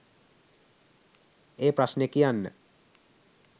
ඒ ප්‍රශ්නේ කියන්න